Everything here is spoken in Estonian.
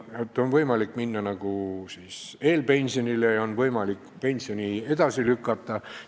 Praegu on võimalik minna eelpensionile ja on võimalik pensioni maksmist edasi lükata.